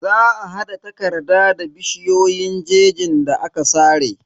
Za a hada takarda da bishiyoyin jejin da aka sare.